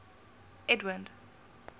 edwind